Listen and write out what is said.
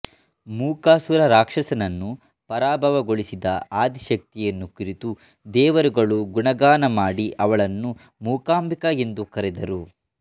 ಮೂಕಾಸುರ ರಾಕ್ಷಸನನ್ನು ಪರಾಭವಗೊಳಿಸಿದ ಆದಿಶಕ್ತಿಯನ್ನು ಕುರಿತು ದೇವರುಗಳು ಗುಣಗಾನ ಮಾಡಿ ಅವಳನ್ನು ಮೂಕಾಂಬಿಕಾ ಎಂದು ಕರೆದರು